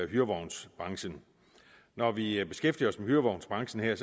hyrevognsbranchen når vi beskæftiger os med hyrevognsbranchen her